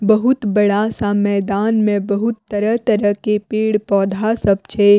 बहुत बड़ा-सा मैदान में बहुत तरह-तरह के पेड़-पौधा सब छै।